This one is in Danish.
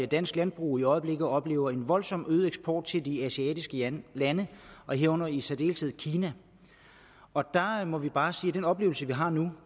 dansk landbrug i øjeblikket oplever en voldsomt øget eksport til de asiatiske lande lande herunder i særdeleshed kina og der må vi bare sige at den oplevelse vi har nu